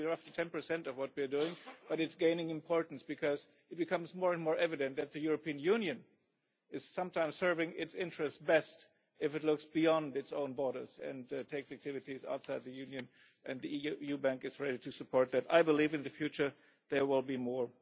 It is only roughly 10 of what we are doing, but it is gaining importance because it becomes more and more evident that the European Union is sometimes serving its interests best if it looks beyond its own borders and takes activities outside the Union, and the EU bank is ready to support that. I believe in the future there will be more.